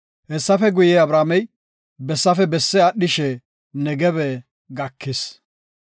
Hessafe guye, Abramey bessafe besse aadhishe Negebe gakis.